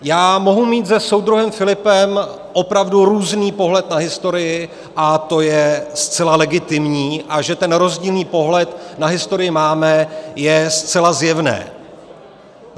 Já mohu mít se soudruhem Filipem opravdu různý pohled na historii, a to je zcela legitimní, a že ten rozdílný pohled na historii máme, je zcela zjevné.